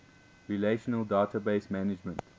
relational database management